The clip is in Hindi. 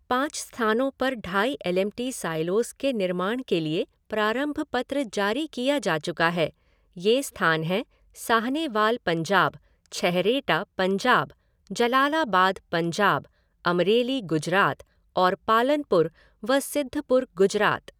पाँच स्थानों पर ढाई एलएमटी साइलोज़ के निर्माण के लिए प्रारंभ पत्र जारी किया जा चुका है। ये स्थान हैं साहनेवाल पंजाब, छैहरेटा पंजाब, जलालाबाद पंजाब, अमरेली गुजरात और पालनपुर व सिद्धपुर गुजरात।